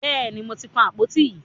Bẹ́ẹ̀ni, mo ti kan àpòtí yín.